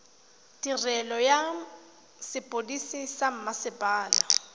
tirelo ya sepodisi sa mmasepala